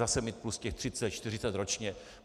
Zase mít plus těch 30, 40 ročně.